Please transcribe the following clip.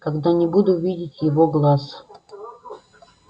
когда не буду видеть его глаз